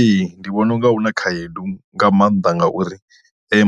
Ee ndi vhona unga huna khaedu nga maanḓa ngauri